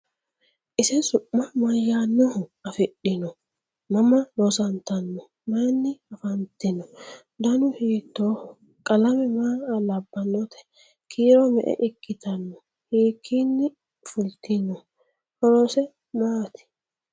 Ise su'ma mayaannoha afidhinno? Mama loosanntanno? Mayiinna affanttinno? dannu hiittoho? Qalame maa labbannotte? Kiiro me'e ikkitanno? Hikkinni fulittinno? horose maati?